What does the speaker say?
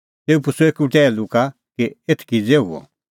तेऊ पुछ़अ एकी टैहलू का कि एथ किज़ै हुअ